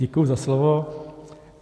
Děkuji za slovo.